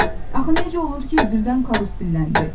Axı necə olur ki, birdən Karus dilləndi.